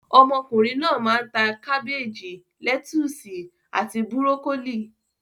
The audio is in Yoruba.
Ọmọkùnrin náà máa ń ta; kábéèjì, lẹ́túsì àti búrókólì.